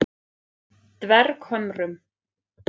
Dverghömrum